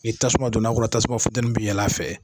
Ni tasuma donna kɔrɔ tasuma funtɛni bi yɛlɛ a fɛ.